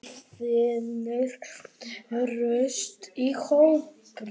Maður finnur traust í hópnum.